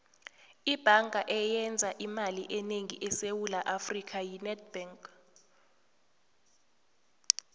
ibhanga eyenza imali enengi esewula afrika yi nedbank